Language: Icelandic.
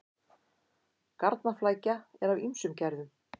Garnaflækja er af ýmsum gerðum.